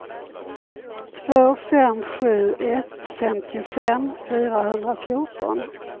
två fem sju ett femtiofem fyrahundrafjorton